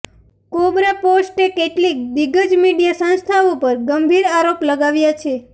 કોબ્રાપોસ્ટે કેટલીક દિગ્ગજ મીડિયા સંસ્થાઓ પર ગંભીર આરોપ લગાવ્યા છે